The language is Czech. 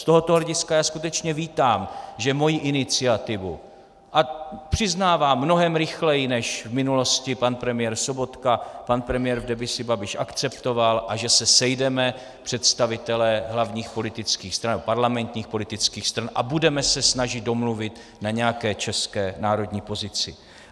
Z tohoto hlediska já skutečně vítám, že moji iniciativu - a přiznávám, mnohem rychleji než v minulosti pan premiér Sobotka - pan premiér v demisi Babiš akceptoval a že se sejdeme, představitelé hlavních politických stran, parlamentních politických stran, a budeme se snažit domluvit na nějaké české národní pozici.